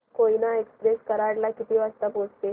Koyna express Karad ला किती वाजता पोहचेल